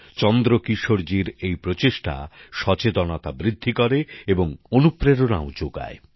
চন্দ্রকিশোরজির এই প্রচেষ্টা সচেতনতা বৃদ্ধি করে এবং অনুপ্রেরণাও যোগায়